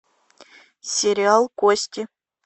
сериал кости